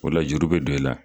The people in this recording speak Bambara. O la juru be don i la.